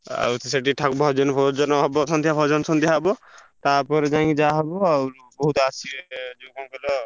ଆଉ ସେଠି ଭଜନ ଫଜନ ହବ ସନ୍ଧ୍ୟା ଭଜନ ସନ୍ଧ୍ୟା ହବ ତା ପରେ ଯାଇଁ ଯାହା ହବ ଆଉ। ବହୁତ୍ ଆସିବେ ଯୋଉ କଣ କହିଲ।